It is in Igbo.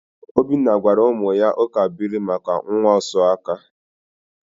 Obinna gwara ụmụ ya ụkabuilu maka nwaosuaka.